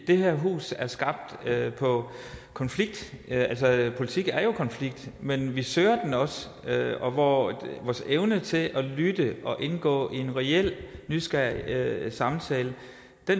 det her hus er skabt på konflikt politik er jo konflikt men vi søger den også og vores evne til at lytte og indgå i en reel nysgerrig samtale